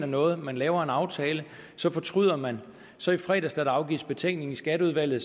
noget man laver en aftale så fortryder man så i fredags da afgivet betænkning i skatteudvalget